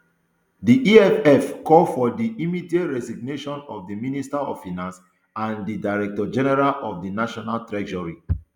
di eff call for di immediate resignation of di minister of finance and di director general of di national treasury